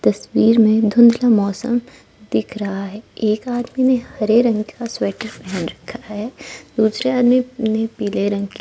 तस्वीर में धुंध का मौसम दिख रहा है एक आदमी ने हरे रंग का स्वेटर पहन रखा है दूसरे आदमी ने पीले रंग की--